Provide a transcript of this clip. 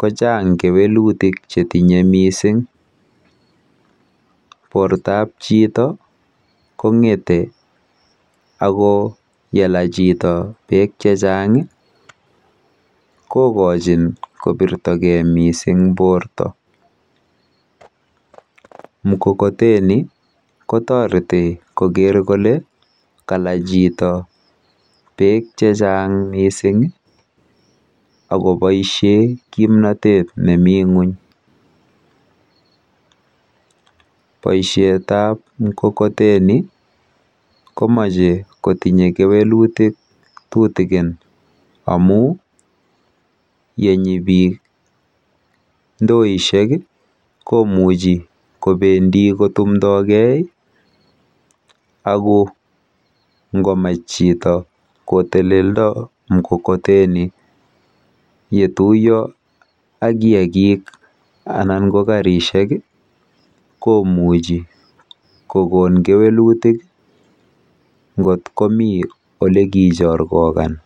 kochang kewelutik chetinye mising. Portoap chito kong'ete ako yela chito beek chechang kokochin kopirtogei mising porto. Mkokoteni kotoreti koker kole kala chito beek chechang mising akoboishe kimnotet nemi ng'uny. Boishetap mkokoteni komeche kotinye kewelutik tutikin amu yenyi beek ndoishek komuchi kobendi kotumdogei ako ngomech chito koteleldo mkokoteni yetuiyo ak kiakik anan ko karishek komuchi kokon kewelutik nkot komi olekichorkokan.